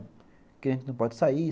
Porque gente não pode sair.